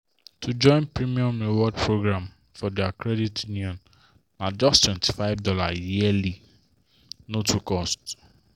to join premium rewards program for their credit union na justtwenty five dollarsyearly—no too cost.